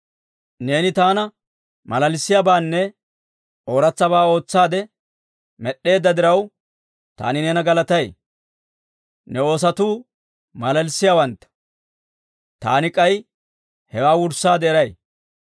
Neeni taana malalissiyaabaanne ooratsabaa ootsaade med'd'eedda diraw, taani neena galatay. Ne oosotuu malalissiyaawantta! Taani k'ay hewaa wurssaade eray.